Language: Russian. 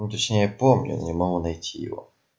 ну точнее помню не могу найти его